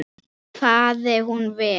Fari hún vel.